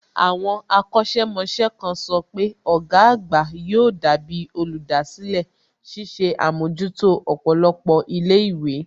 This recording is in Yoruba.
Àwọn akọ̀sẹ̀ mọṣẹ́ kan sọ pé ọ̀gá àgbà yóò dàbí olùdásílẹ̀, ṣiṣẹ́ àmójútó ọ̀pọ̀lọpọ̀ ilé ìwé